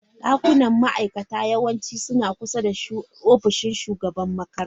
Dakunan ma'aikata yawanci suna kusa da ofishin shugaban makarantar.